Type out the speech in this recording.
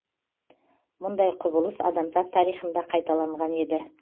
мұндай құбылыс адамзат тарихында қайталанған еді